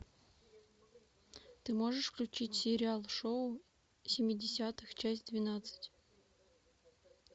ты можешь включить сериал шоу семидесятых часть двенадцать